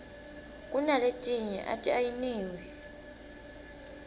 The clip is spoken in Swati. kunaletinye ati ayiniwi